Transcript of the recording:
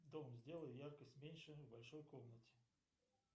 дом сделай яркость меньше в большой комнате